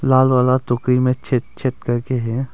लाल वाला टोकरी में छेद छेद करके है।